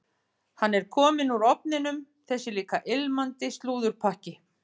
Hann er kominn úr ofninum, þessi líka ilmandi slúðurpakki.